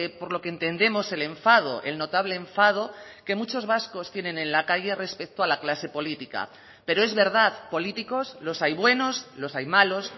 por lo que entendemos el enfado el notable enfado que muchos vascos tienen en la calle respecto a la clase política pero es verdad políticos los hay buenos los hay malos